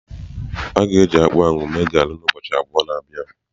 A ga-eji akpụ ahụ mee garị na ubọọchi abụọ na bia.